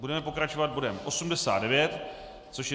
Budeme pokračovat bodem 89, což je